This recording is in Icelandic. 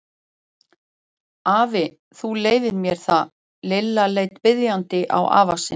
Afi, þú leyfir mér það. Lilla leit biðjandi á afa sinn.